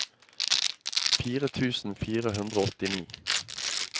fire tusen fire hundre og åttini